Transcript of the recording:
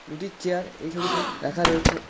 দুটি চেয়ার এই ছবিতে রাখা রয়েছে।